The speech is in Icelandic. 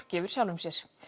gefur sjálfum sér